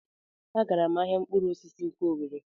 A gara m ahịa mkpụrụ osisi nke Owere.